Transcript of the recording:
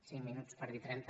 cinc minuts per dir ne trenta